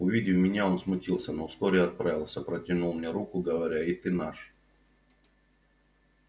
увидя меня он смутился но вскоре оправился протянул мне руку говоря и ты наш